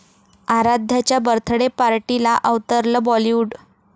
आराध्याच्या birthday पार्टीला अवतरलं बॉलिवूड